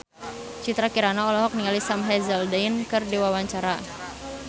Citra Kirana olohok ningali Sam Hazeldine keur diwawancara